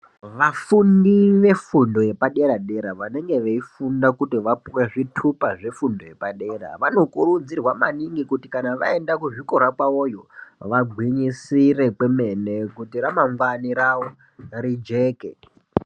Vafundi vefundo yepadera dera vanenge veifunda kuti vapuwe zvitupa zvefundo yepadera vanokurudzirwa maningi kuti kana vaenda kuzvikora kwawoyo vagwinyisire kwemene kuti ramangwani rijeke.